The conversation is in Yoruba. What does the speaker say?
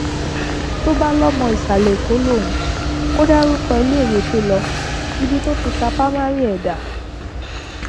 tó bá lọmọ ìsàlẹẹkọ lòun kò dárúkọ iléèwé tó lo ibi tó ti ká pa mari ẹ dá